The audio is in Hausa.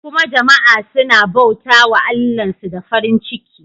Kuma jama'a suna bauta wa Allahnsu da farin ciki.